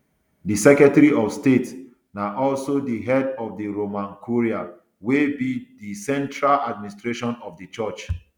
di secretary of state na also di head of di roman curia wey be di central administration of di church